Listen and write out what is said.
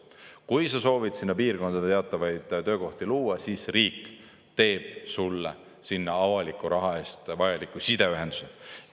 Kui sa soovid sinna piirkonda teatavaid töökohti luua, siis riik teeb sulle sinna avaliku raha eest vajalikku sideühenduse.